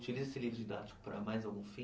Utiliza esse livro didático para mais algum fim?